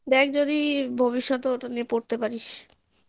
দেখ যদি ভবিষ্যতে ওটা নিয়ে পড়তে পারিস